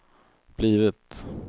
blivit